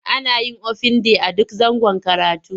Ana yin ofin day a duk zangon karatu.